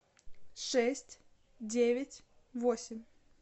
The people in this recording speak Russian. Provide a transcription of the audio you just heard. шесть девять восемь